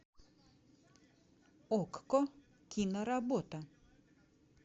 окко киноработа